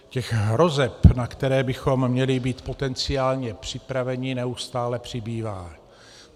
Těch hrozeb, na které bychom měli mít potenciálně připraveni, neustále přibývá.